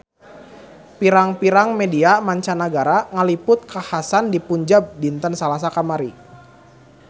Pirang-pirang media mancanagara ngaliput kakhasan di Punjab dinten Salasa kamari